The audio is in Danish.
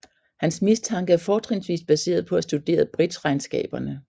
Hans mistanke er fortrinsvis baseret på at studere bridgeregnskaberne